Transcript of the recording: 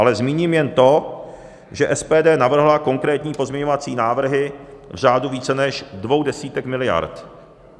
Ale zmíním jen to, že SPD navrhla konkrétní pozměňovací návrhy v řádu více než dvou desítek miliard.